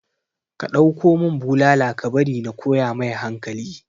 ka ɗauko mun bulala ka bari na koya mai hankali